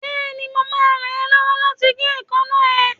Bẹ́ẹ̀ni, mo máa ràn ẹ́ lọ́wọ́ láti gé èékánná ẹ